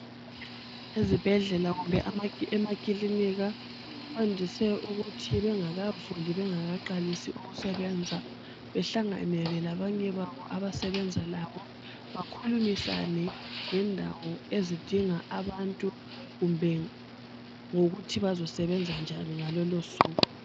Ezibhedlela kumbe emakilinika, kwandise ukuthi bengakavuli, bengakaqalisi ukusebenza, behlanganele labanye babo abasebenza labo, bakhulumisane ngendawo ezidinga abantu, kumbe ngokuthi bazosebenza njani ngalolo suku.